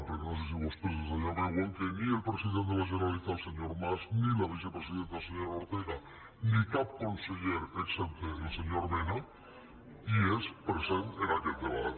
perquè no sé si vostès des d’allà veuen que ni el president de la generalitat el senyor mas ni la vicepresidenta la senyora ortega ni cap conseller excepte el senyor mena és present en aquest debat